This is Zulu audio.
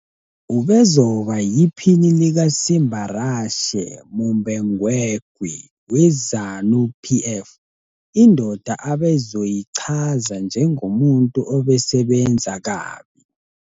Ubezoba yiPhini likaSimbarashe Mumbengegwi weZANU PF, indoda abezoyichaza 'njengomuntu obesebenza kabi'.